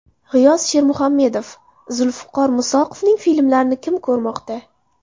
G‘iyos Shermuhammedov: Zulfiqor Musoqovning filmlarini kim ko‘rmoqda?